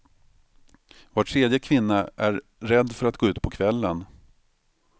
Var tredje kvinna är rädd för att gå ut på kvällen.